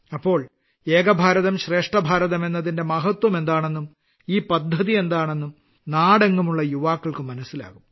അപ്പോൾ ഏക ഭാരതം ശ്രേഷ്ഠ ഭാരതം എന്നതിന്റെ മഹത്വം എന്താണെന്നും ഈ പദ്ധതി എന്താണെന്നും നാടെങ്ങുമുള്ള യുവാക്കൾക്ക് മനസ്സിലാകും